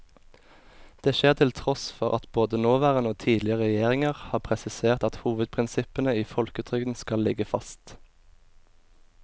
Det skjer til tross for at både nåværende og tidligere regjeringer har presisert at hovedprinsippene i folketrygden skal ligge fast.